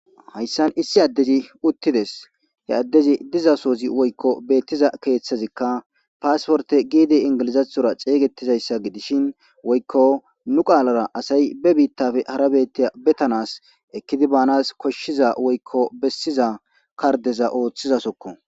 Hayssan issi addezi uti des.he addezi diza sohoyi woykko beetiza kehjthika passporte giddi engilizatora xeeseta issa giddishin woykko nu qalara asayi nu bitttape hara bitta beetanasai ekidi banasi koshida woykko beesiza kardeza oththiza izako